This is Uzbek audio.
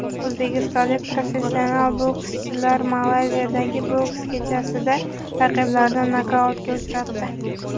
O‘zbekistonlik professional bokschilar Malayziyadagi boks kechasida raqiblarini nokautga uchratdi.